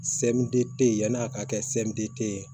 yan'a ka kɛ ye